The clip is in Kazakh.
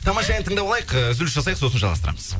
тамаша ән тыңдап алайық ы үзіліс жасайық сосын жалғастырамыз